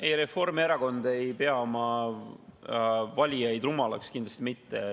Ei, Reformierakond ei pea oma valijaid rumalaks, kindlasti mitte.